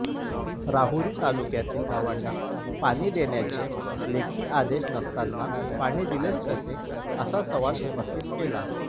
राहुरी तालुक्यातील गावांना पाणी देण्याचे लेखी आदेश नसतांना पाणी दिलेच कसे असा सवाल उपस्थित केला